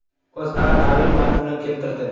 O‘zA tabrik matnini keltirdi .